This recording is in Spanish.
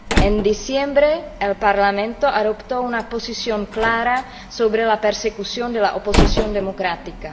En diciembre, el Parlamento adoptó una posición clara sobre la persecución de la oposición democrática.